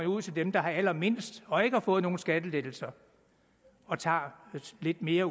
ud til dem der har allermindst og ikke har fået nogen skattelettelser og tager lidt mere